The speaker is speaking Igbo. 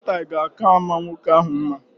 Bolo taị ga aka ama nwoke ahụ mma